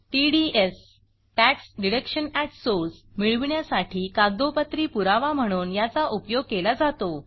TDS मिळविण्यासाठी कागदोपत्री पुरावा म्हणून याचा उपयोग केला जातो